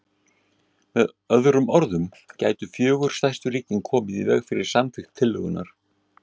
Með öðrum orðum gætu fjögur stærstu ríkin komið í veg fyrir samþykkt tillögunnar.